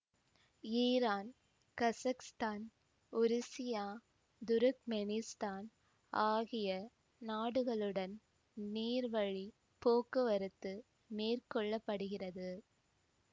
Iran Kazakhstan உருசியா Turkmenistan ஆகிய நாடுகளுடன் நீர்வழிப் போக்குவரத்து மேற்கொள்ள படுகிறது